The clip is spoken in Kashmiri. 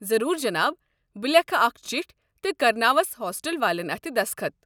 ضروٗر جناب، بہٕ لیکھٕ اکھ چِٹھۍ تہٕ کرناوس ہوسٹل والٮ۪ن اتھہِ دسخط۔